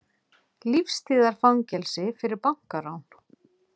Lífstíðarfangelsi fyrir bankarán